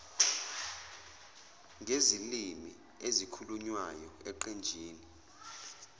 ngezilimi ezikhulunywayo eqenjini